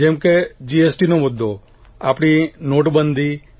જેમ કે જીએસટીનો મુદ્દો આપણી નોટબંધી